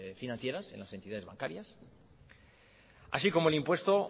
financieras en las entidades bancarias así como el impuesto